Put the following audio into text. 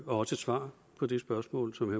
var også et svar på det spørgsmål som